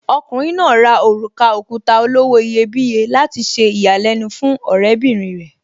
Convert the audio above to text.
Okùnrin náà rà òrùka òkuta olówó iyebíye láti ṣe ìyàlẹ́nu fún ọ̀rẹ́bìrin rẹ̀.